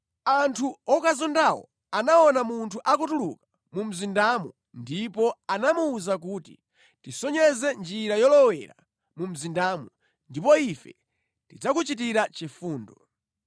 Anthu okazondawo anaona munthu akutuluka mu mzindamo ndipo anamuwuza kuti, “Tisonyeze njira yolowera mu mzindamu, ndipo ife tidzakuchitira chifundo.”